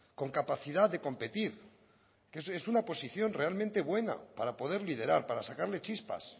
con capacidad de competir que es una posición realmente buena para poder liderar para sacarle chispas